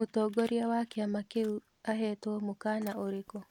Mũtongoria wa kĩama kĩũ ahetwo mũkana ũrĩkũ?